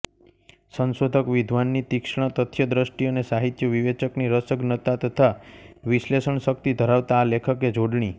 સંશોધક વિદ્વાનની તીક્ષ્ણ તથ્યદ્રષ્ટિ અને સાહિત્યવિવેચકની રસજ્ઞતા તથા વિશ્લેષણશક્તિ ધરાવતાં આ લેખકે જોડણી